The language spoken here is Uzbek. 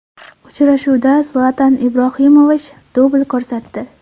Uchrashuvda Zlatan Ibrohimovich dubl ko‘rsatdi.